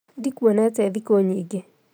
Ndikuonete rhikũnyingĩ